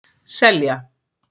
Selja